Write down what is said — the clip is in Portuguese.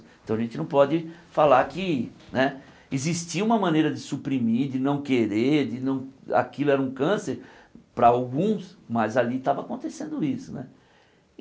Então a gente não pode falar que né existia uma maneira de suprimir, de não querer, de não aquilo era um câncer para alguns, mas ali estava acontecendo isso né.